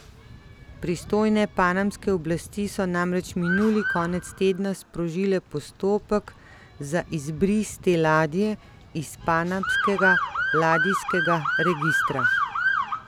Pristojne panamske oblasti so namreč minuli konec tedna sprožile postopek za izbris te ladje iz panamskega ladijskega registra.